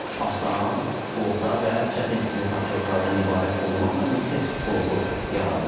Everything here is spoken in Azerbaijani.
Asan, orta və çətin tipli tapşırıqlardan ibarət olmaqla bir test bloku yaradılır.